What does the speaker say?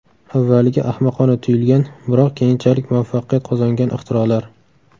Avvaliga ahmoqona tuyulgan, biroq keyinchalik muvaffaqiyat qozongan ixtirolar .